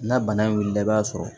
N'a bana in wulila i b'a sɔrɔ